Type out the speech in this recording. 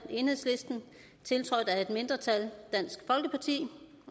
tiltrådt af et andet mindretal